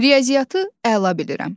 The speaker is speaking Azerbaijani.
Riyaziyyatı əla bilirəm.